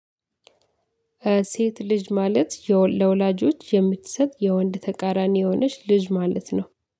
ሴት ልጅ ማለት ለወላጆች የምትሰጥ የወንድ ተቃራኒ የሆነች ልጅ ማለት ነው።